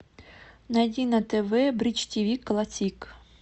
найди на тв бридж тиви классик